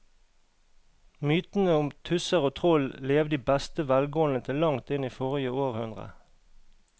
Mytene om tusser og troll levde i beste velgående til langt inn i forrige århundre.